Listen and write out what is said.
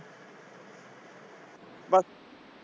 ਬੱਸ